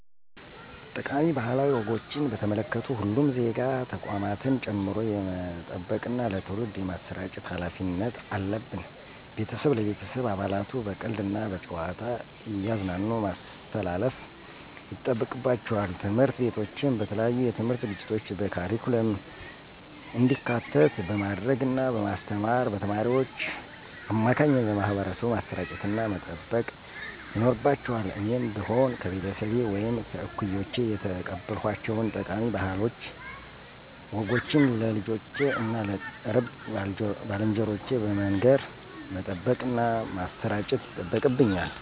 ጠቃሚ ባህላዊ ወጎችን በተመለከቱ ሁሉም ዜጋ ተቋማትን ጨምሮ የመጠበቅና ለትውልድ የማሰራጨት ሀላፊነት አለብን። ቤተሰብ ለቤተሰብ አባላቱ በቀልድ እና በጨዋታ እያዝናኑ ማስተላለፍ ይጠበቅባቸዋል። ትምህርት ቤቶችም በተለያዩ የትምህርት ዝግጅቶች በካሪኩለም እንዲካተት በማድረግ እና በማስተማር በተማሪዎች አማካኝነት ለማህበረሰቡ ማሰራጨትና መጠበቅ ይኖርባቸዋል እኔም ብሆን ከቤተሰቤ ወይም ከእኩዮቼ የተቀበልኳቸውን ጠቃሚ ባህላዊ ወጎችን ለልጆቼ እና ለቅርብ ባልንጀሮቼ በመንገር መጠበቅና ማሠራጨት ይጠበቅብኛል።